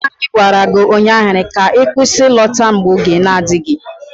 Nna anyi gwara gi ụnyaahụ ka kwụsị ịlọta n'oge!